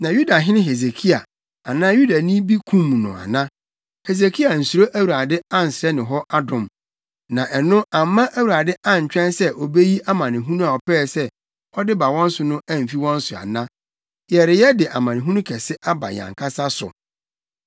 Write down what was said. Na Yudahene Hesekia anaa Yudani bi kum no ana? Hesekia ansuro Awurade ansrɛ ne hɔ adom? Na ɛno amma Awurade antwɛn sɛ obeyi amanehunu a ɔpɛɛ sɛ ɔde ba wɔn so no amfi wɔn so ana? Yɛreyɛ de amanehunu kɛse aba yɛn ankasa so!”